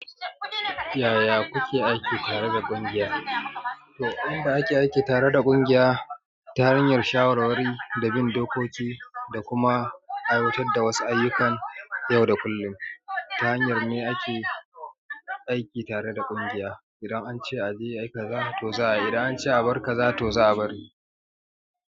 Yaya kuke aiki tare da ƙungiya? To, inda ake aiki tare da ƙungiya ta hanyar shawarwari da bin dokoki da kuma aiwatar da wasu ayyukan yau da kullum. Ta hanyar ne ake aiki tare da ƙungiya. Idan an ce a je a yi, ka za t toza a yi. Idan an ce a bar ka, za to za a bari.